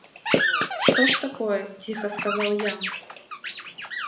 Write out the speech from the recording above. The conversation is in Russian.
что ж такое тихо сказал я